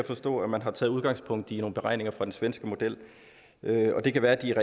forstå at man har taget udgangspunkt i nogle beregninger fra den svenske model det kan være at de